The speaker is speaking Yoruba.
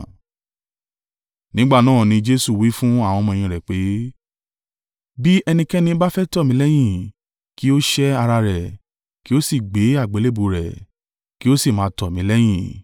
Nígbà náà ni Jesu wí fún àwọn ọmọ-ẹ̀yìn rẹ̀ pé, “Bí ẹnikẹ́ni bá fẹ́ tọ̀ mí lẹ́yìn, kí ó sẹ́ ara rẹ̀, kí ó sì gbé àgbélébùú rẹ̀, kí ó sì máa tọ̀ mí lẹ́yìn.